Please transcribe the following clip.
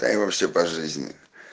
да и вообще по жизни